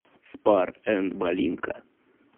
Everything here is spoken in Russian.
спар энд малинка